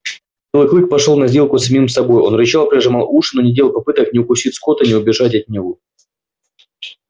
белый клык пошёл на сделку с самим собой он рычал прижимал уши но не делал попыток ни укусить скотта ни убежать от него